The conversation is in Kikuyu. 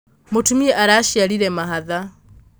mũtumia araciarire mahatha